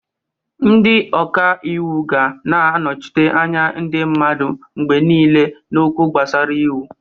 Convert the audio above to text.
Ndị ọka ịwụ ga na-anọchite anya ndị mmadụ mgbe niile n'okwu gbasara iwu.